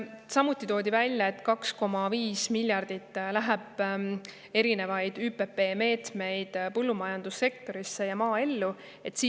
Siin toodi välja, et 2,5 miljardi ulatuses läheb erinevaid ÜPP meetmeid põllumajandussektori ja maaelu.